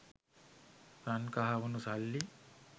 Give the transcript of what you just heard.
රන් කහවනු සල්ලි